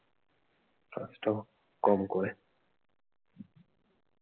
কষ্ট কম করে।